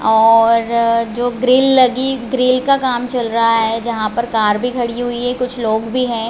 और जो ग्रिल लगी ग्रिल का काम चल रहा है जहां पर कार भी खड़ी हुई है कुछ लोग भी है।